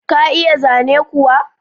Ka iya zane kuwa?